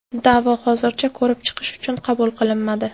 Da’vo hozircha ko‘rib chiqish uchun qabul qilinmadi.